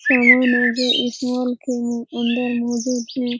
समान है जो इस मॉल के अंदर मौजूद है।